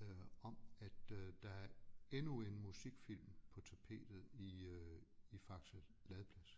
øh om at øh der er endnu en musikfilm på tapetet i øh i Faxe Ladeplads